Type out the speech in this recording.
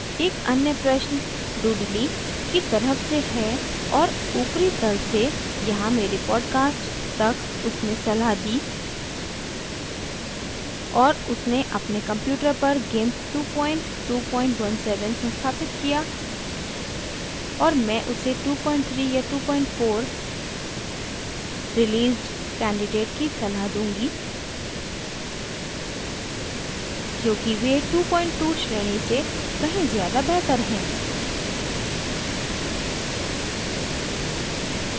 एक अन्य प्रश्न dudley dudley की तरफ से है और ऊपरी तल से यहाँ मेरे podcast तक उसने सलाह दीं और उसने अपने computer पर gimp 2217 संस्थापित किया और मैं उसे 23 या 24 released कैंडिडेट की सलाह दूंगी क्योंकि वे 22 श्रेणी से कहीं ज़्यादा बेहतर हैं